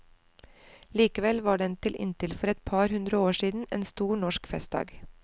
Likevel var den til inntil for et par hundre år siden en stor norsk festdag.